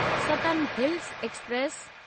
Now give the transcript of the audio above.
सतन hills express